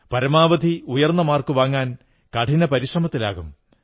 പരമാവധി ഉയർന്ന മാർക്കു വാങ്ങാൻ കഠിന പരിശ്രമത്തിലാകും